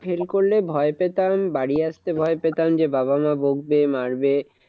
Fail করলে ভয় পেতাম বাড়ি আসতে ভয় পেতাম যে, বাবা মা বকবে মারবে।